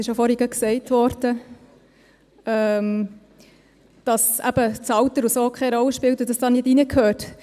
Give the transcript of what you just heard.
Gerade vorhin wurde ja gesagt, dass eben das Alter und so keine Rolle spiele und dies hier nicht reingehöre.